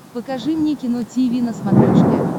покажи мне кино тиви на смотрешке